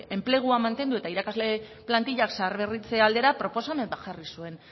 enplegua mantendu eta irakasle plantillak zaharberritzea aldera proposamen jarri zuen